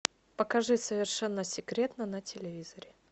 покажи совершенно секретно на телевизоре